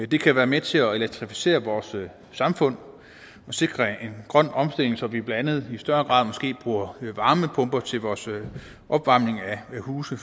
det kan være med til at elektrificere vores samfund og sikre en grøn omstilling så vi blandt andet i større grad måske bruger varmepumper til vores opvarmning af huse